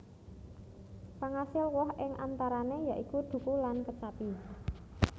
Pangasil woh ing antarané ya iku dhuku lan kecapi